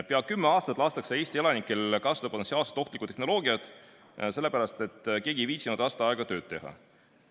Peaaegu kümme aastat lastakse Eesti elanikel kasutada potentsiaalselt ohtlikku tehnoloogiat, sellepärast et keegi ei viitsinud aasta aega tööd teha.